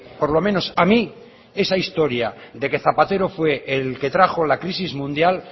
por lo menos a mí esa historia de que zapatero fue el que trajo la crisis mundial